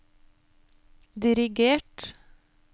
dirigert